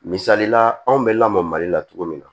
Misalila anw bɛ lamɔ mali la cogo min na